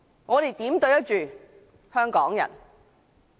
我們如何對得起香港人？